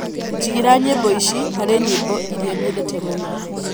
jigīra nyīmbo ici harī nyīmbo īria nyendete mūno